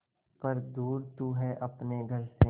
पर दूर तू है अपने घर से